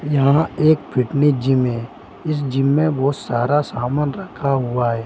यहाँ एक fitness gym है इस जिम बहोत सारा समान रखा हुआ है।